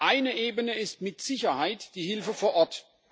Eine Ebene ist mit Sicherheit die Hilfe vor Ort.